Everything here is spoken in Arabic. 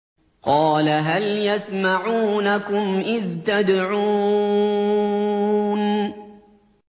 قَالَ هَلْ يَسْمَعُونَكُمْ إِذْ تَدْعُونَ